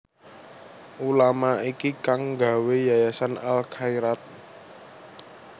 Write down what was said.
Ulama iki kang nggawé yayasan Al Khairaat